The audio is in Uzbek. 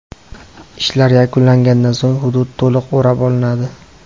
Ishlar yakunlangandan so‘ng hudud to‘liq o‘rab olinadi.